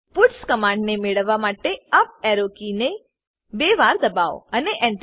puts command ને મેળવવા માટે યુપી એરો કીને બે વાર દબાઓ અને Enter